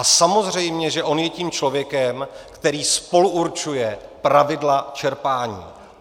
A samozřejmě že on je tím člověkem, který spoluurčuje pravidla čerpání.